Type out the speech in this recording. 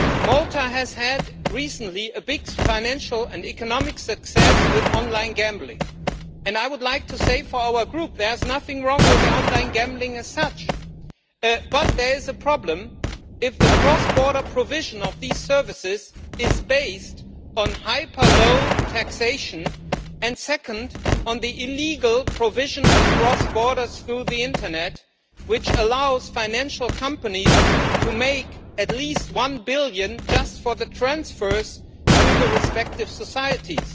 Malta has recently had big financial and economic success with online gambling and I would like to say on behalf of our Group that there is nothing wrong with online gambling as such, but there is a problem if the cross border provision of these services is based on hyper low taxation, and secondly, on the illegal provision across borders through the internet, which allows financial companies to make at least EUR 1 billion just for the transfers to the respective societies.